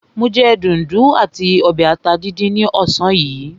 Mo jẹ dùndún àti ọbẹ̀ ata díndín ní ọ̀sán yìí.